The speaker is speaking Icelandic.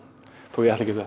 þó ég ætli ekkert